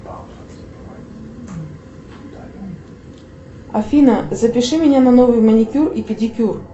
афина запиши меня на новый маникюр и педикюр